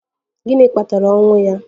Gịnị kpatara ọnwụ ya?